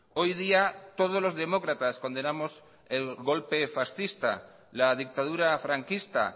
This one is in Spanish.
hoy día todos los demócratas condenamos el golpe fascista la dictadura franquista